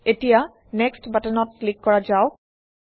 এতিয়া নেক্সট বাটনত ক্লিক কৰা যাওক